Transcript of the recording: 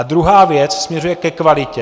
A druhá věc směřuje ke kvalitě.